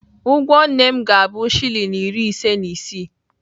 Ụgwọ nne m ga-abụ shilling iri ise na isii.